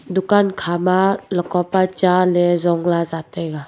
dukan khama ladka pa cha ley zong lah za taiga.